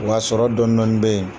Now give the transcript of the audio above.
Wa sɔrɔ dɔni dɔni bɛ yen